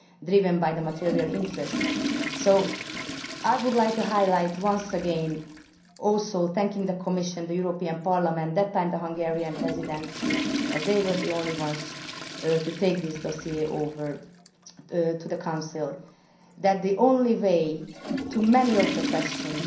driven by material interest. So, I would like to highlight once again also thanking the Commission and Parliament, and the Hungarian Presidency as they were the only ones to take this dossier over to the Council that the only answer to many of the questions